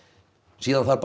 síðan þarf bara